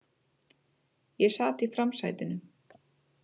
Ég sat í framsætinu.